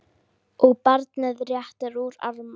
og barnið réttir út arma